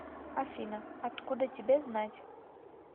афина откуда тебе знать